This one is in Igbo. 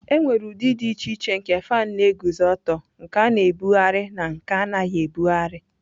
Enwere ụdị dị iche iche nke fan na-eguzo ọtọ, nke a na-ebugharị na nke anaghị ebugharị.